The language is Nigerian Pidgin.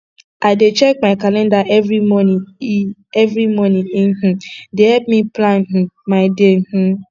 i dey check my calender every morning e every morning e um dey help me plan um my day um